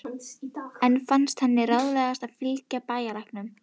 Enn fannst henni ráðlegast að fylgja bæjarlæknum.